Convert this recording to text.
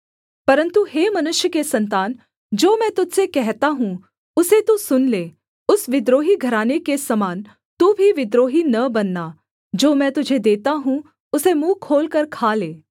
परन्तु हे मनुष्य के सन्तान जो मैं तुझ से कहता हूँ उसे तू सुन ले उस विद्रोही घराने के समान तू भी विद्रोही न बनना जो मैं तुझे देता हूँ उसे मुँह खोलकर खा ले